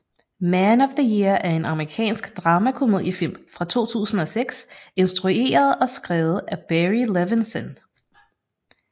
Man of the Year er en amerikansk dramakomediefilm fra 2006 instrueret og skrevet af Barry Levinson